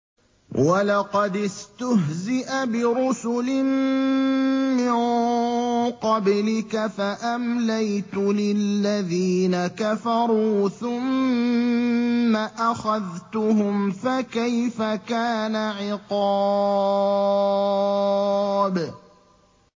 وَلَقَدِ اسْتُهْزِئَ بِرُسُلٍ مِّن قَبْلِكَ فَأَمْلَيْتُ لِلَّذِينَ كَفَرُوا ثُمَّ أَخَذْتُهُمْ ۖ فَكَيْفَ كَانَ عِقَابِ